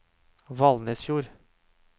Valnesfjord